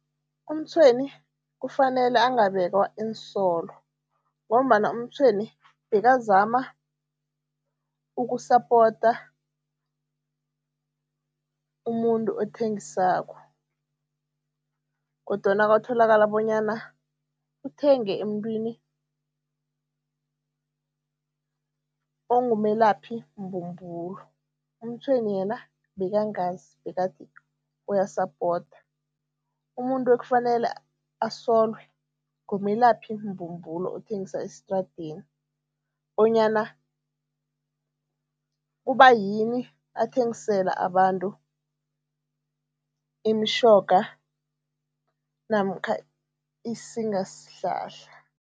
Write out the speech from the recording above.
UMtshweni kufanele angabekwa iinsolo ngombana uMtshweni bekazama ukusapota umuntu othengisako kodwana kwatholakala bonyana uthenge emuntwini ongumelaphimbumbulo, uMtshweni yena bekangazi, bekathi uyasapota. Umuntu ekufanele asolwe, ngumelaphimbumbulo othengisa esitradeni bonyana kubayini athengisela abantu imitjhoga namkha isingasihlahla.